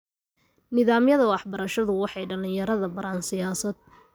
Nidaamyada waxbarashadu waxay dhalinyarada baraan siyaasadda.